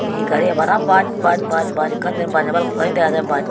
ye gari bana bus bus bus bus ekkan diyen bus noi balokkani dega jaai bus.